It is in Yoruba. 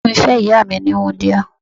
Bàbá mi fẹ́ ìyá mi ní wúńdíá.